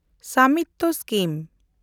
ᱥᱟᱢᱤᱛᱛᱚ scheme